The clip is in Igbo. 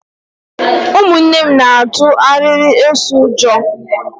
Ụmụnne m na-atu arịrị eso ụjọ.